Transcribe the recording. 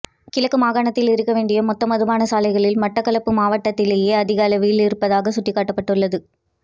கிழக்கு மாகாணத்தில் இருக்க வேண்டிய மொத்த மதுபான சாலைகளில் மட்டக்களப்பு மாவட்டத்திலேயே அதிகளவில் இருப்பதாக சுட்டிக்காட்டப்பட்டுள்ளது